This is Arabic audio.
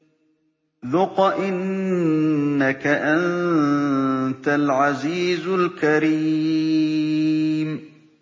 ذُقْ إِنَّكَ أَنتَ الْعَزِيزُ الْكَرِيمُ